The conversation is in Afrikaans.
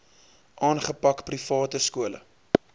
aangepak private skole